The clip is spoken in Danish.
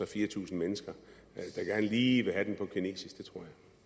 fire tusind mennesker der gerne lige vil have den på kinesisk